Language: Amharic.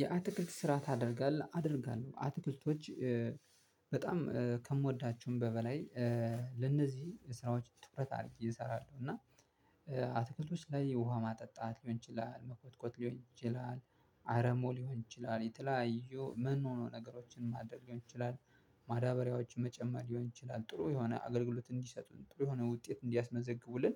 የአትክልት ስራ ታደርጋለህ? አደርጋለው አትክልቶች በጣም ከምወዳቸውም በበላይ ለነዚህ ስራዎች ትኩረት አሪጌ እሰራለው እና አትክልቶች ላይ ውሃ ማጠጣት ሊሆን ይችላል መኮትኮት ሊሆን ይችላል አረሞ ሊሆን ይችላል የተለያዩ ምን ሆኖ ነገሮችን ማድረግ ሊሆን ይችላል ማዳበሪያዎችን መጨመር ሊሆን ይችላል ጥሩ የሆነ አገልግሎት እንዲሰጡን ጥሩ የሆነ ውጤት እንዲያስመዘግቡልን